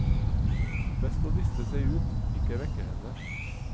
Best å liste seg ut, ikke vekke henne.